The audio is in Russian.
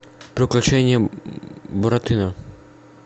приключения буратино